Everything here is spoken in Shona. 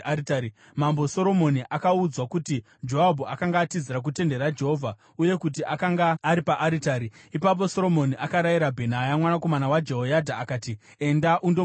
Mambo Soromoni akaudzwa kuti Joabhu akanga atizira kutende raJehovha uye kuti akanga ari paaritari. Ipapo Soromoni akarayira Bhenaya mwanakomana waJehoyadha akati, “Enda undomuuraya!”